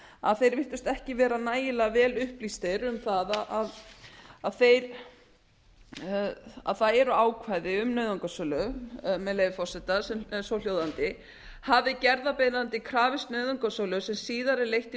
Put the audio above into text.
að þeir virtust ekki vera nægilega vel upplýstir um að það eru ákvæði um nauðungarsölu með leyfi forseta sem er svohljóðandi hafi gerðarbeiðandi krafist nauðungarsölu sem síðar er leitt í